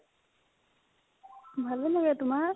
ভালে লাগে তোমাৰ